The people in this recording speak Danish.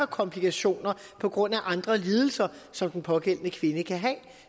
komplikationer på grund af andre lidelser som den pågældende kvinde kan have